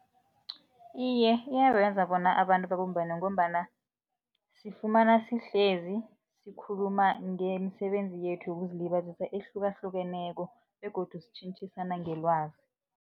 Iye, iyabenza bona abantu babumbane ngombana sifumana sihlezi, sikhuluma ngemisebenzi yethu yokuzilibazisa ehlukahlukeneko begodu sitjhentjhisana ngelwazi.